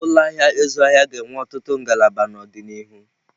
Ụlọ ahịa ịzụ ahịa ga-enwe ọtụtụ ngalaba n'ọdịnihu.